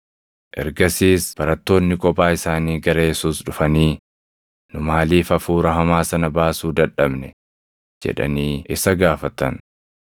Ergasiis barattoonni kophaa isaanii gara Yesuus dhufanii, “Nu maaliif hafuura hamaa sana baasuu dadhabne?” jedhanii isa gaafatan.